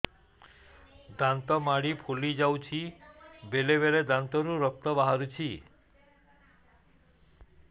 ଦାନ୍ତ ମାଢ଼ି ଫୁଲି ଯାଉଛି ବେଳେବେଳେ ଦାନ୍ତରୁ ରକ୍ତ ବାହାରୁଛି